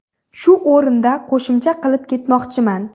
Shu o‘rinda qo‘shimcha qilib ketmoqchiman.